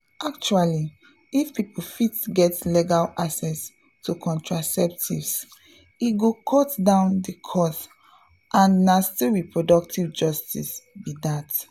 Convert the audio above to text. actually if people fit get legal access to contraceptives e go cut down the cost and na still reproductive justice be that.